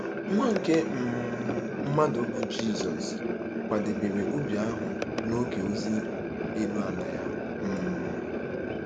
Nwa nke um mmadụ, bụ́ Jizọs, kwadebere ubi ahụ n'oge ozi elu ala ya. um